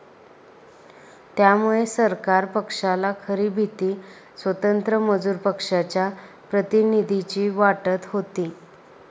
त्यामुळे सरकार पक्षाला खरी भीती स्वतंत्र मजूर पक्षाच्या प्रतिनिधींची वाटत होती